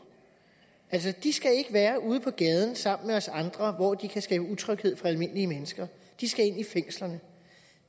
de skal ikke være ude på gaden sammen med os andre hvor de kan skabe utryghed for almindelige mennesker de skal ind i fængslerne